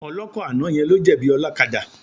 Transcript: Ọlọ́kọ̀ àná yẹn ló jẹ̀bi ọlọ́kadà.